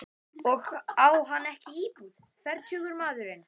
Og á hann ekki íbúð, fertugur maðurinn?